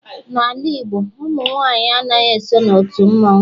N'ala Igbo ụmụ nwanyị anaghị eso n'otu mmanwu